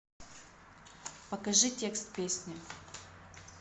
покажи текст песни